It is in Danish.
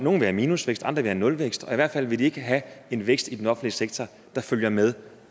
have minusvækst andre vil have nulvækst og i hvert fald vil de ikke have en vækst i den offentlige sektor der følger med